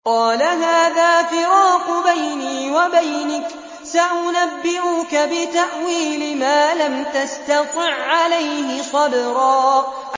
قَالَ هَٰذَا فِرَاقُ بَيْنِي وَبَيْنِكَ ۚ سَأُنَبِّئُكَ بِتَأْوِيلِ مَا لَمْ تَسْتَطِع عَّلَيْهِ صَبْرًا